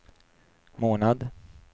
månad